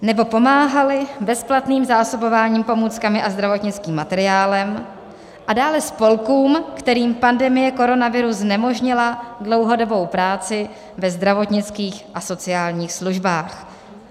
... nebo pomáhaly bezplatným zásobováním pomůckami a zdravotnickým materiálem, a dále spolkům, kterým pandemie koronaviru znemožnila dlouhodobou práci ve zdravotnických a sociálních službách."